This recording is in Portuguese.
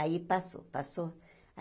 Aí passou, passou.